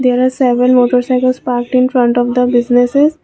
there are seven motorcycles parked in front of the businesses.